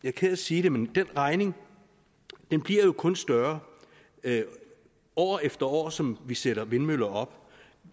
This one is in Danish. er ked af at sige det men den regning bliver jo kun større år efter år efterhånden som vi sætter vindmøller op